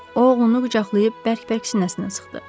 O oğlunu qucaqlayıb bərk-bərk sinəsinə sıxdı.